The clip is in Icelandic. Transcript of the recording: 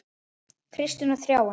Kristín og Þráinn.